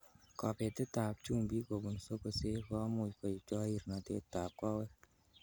Kobetetab chumbik kobun sokosek komuch koib chorirnotetab kowek.